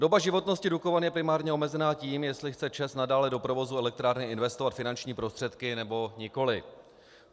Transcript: Doba životnosti Dukovan je primárně omezena tím, jestli chce ČEZ nadále do provozu elektrárny investovat finanční prostředky, nebo nikoli.